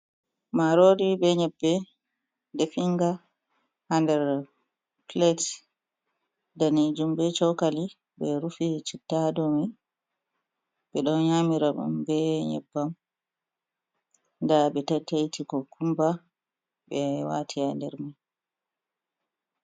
Marori be nyebbe definga ha nder pilet danejum be chokali ɓe rufi chitta ha domai, ɓe ɗon nyamira ɗum be nyebbam nda ɓe taitaiti kukumba ɓe wati ha nder mai.